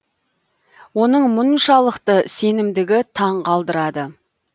оның мұншалықты сенімдігі таң қалдырады